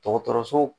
Dɔgɔtɔrɔso